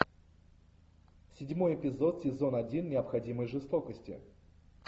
седьмой эпизод сезон один необходимой жестокости